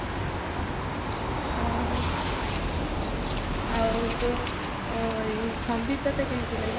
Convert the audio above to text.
ଓହୋ ଆଉ ତୁ ସମ୍ବିତ ତତେ କେମିତି ଲାଗେ